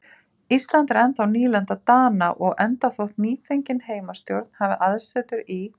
Ísland er ennþá nýlenda Dana og enda þótt nýfengin heimastjórn hafi aðsetur í